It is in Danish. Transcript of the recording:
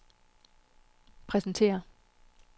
præsentere